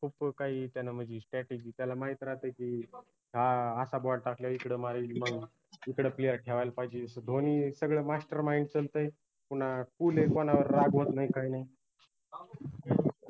खूप काही त्यानं म्हनजे stratergy त्याला माहित राहाते की हा असा ball टाकला इकडं मारेल मग इकडं player ठेवायला पाहिजे धोनीच सगळं mastermind चालतंय पूना cool आहे कुनावर रागवत नाई काय नाई